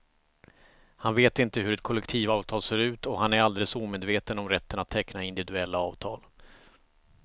Han vet inte hur ett kollektivavtal ser ut och han är alldeles omedveten om rätten att teckna individuella avtal.